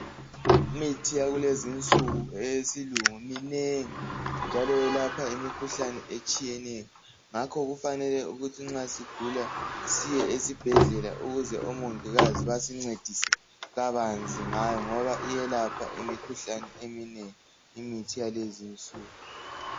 imithi yakulezinsuku eyesilungu minengi njalo yelapha imikhuhlane etshiyeneyo ngakho kufanele ukuthi nxa sigula siye esibhedlela ukuze omongikazi basincedise kabanzi ngayo ngoba iyelapha imikhuhlane eminengi imithi yalezinsuku